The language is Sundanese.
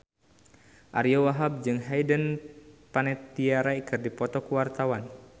Ariyo Wahab jeung Hayden Panettiere keur dipoto ku wartawan